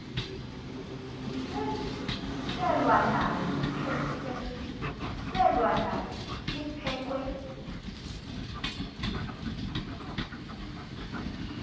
selwa nalo liphekhwe